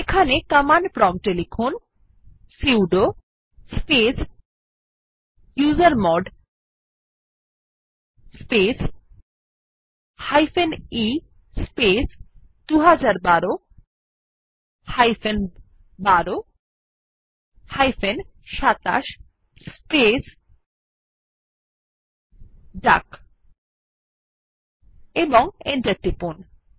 এখানে কমান্ড প্রম্পটে লিখুন sudo space usermod space e space ২০১২ ১২ ২৭ space ডাক এবং এন্টার টিপুন